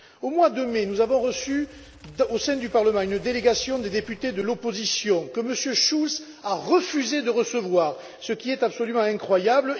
Au mois de mai, nous avons reçu, au sein du Parlement, une délégation de députés de l'opposition ukrainienne, que M. Schulz a refusés de recevoir, ce qui est absolument incroyable.